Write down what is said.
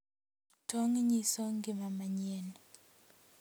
Tong' nyiso ngima manyien,